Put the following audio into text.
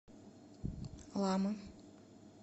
лама